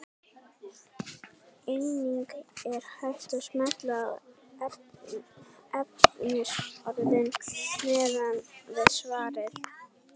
Einnig er hægt að smella á efnisorðin neðan við svarið.